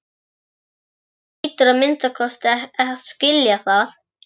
Þú hlýtur að minnsta kosti að skilja það.